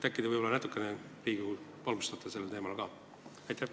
Äkki te natukene valgustate Riigikogu ka sellel teemal?